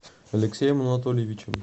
алексеем анатольевичем